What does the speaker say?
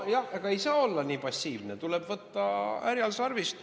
Jah, aga ei saa olla nii passiivne, tuleb võtta härjal sarvist.